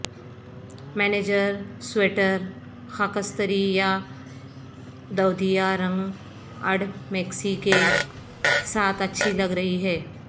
manager sweater خاکستری یا دودیا رنگ اڑ میکسی کے ساتھ اچھی لگ رہی ہے